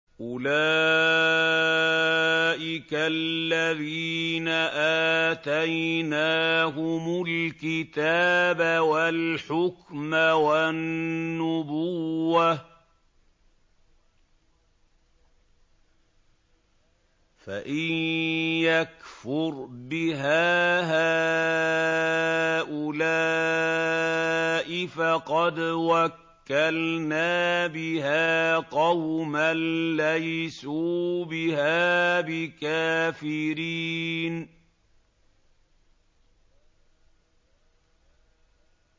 أُولَٰئِكَ الَّذِينَ آتَيْنَاهُمُ الْكِتَابَ وَالْحُكْمَ وَالنُّبُوَّةَ ۚ فَإِن يَكْفُرْ بِهَا هَٰؤُلَاءِ فَقَدْ وَكَّلْنَا بِهَا قَوْمًا لَّيْسُوا بِهَا بِكَافِرِينَ